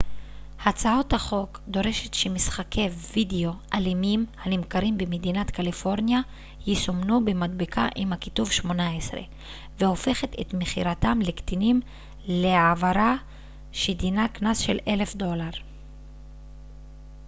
הצעת החוק דורשת שמשחקי וידאו אלימים הנמכרים במדינת קליפורניה יסומנו במדבקה עם הכיתוב 18 והופכת את מכירתם לקטינים לעברה שדינה קנס של $1000